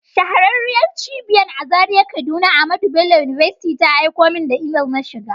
Shahararriyar Cibiyan a Zaria kaduna AHMADU BELLO UNIVERSITY ta aiko min da imel na shiga.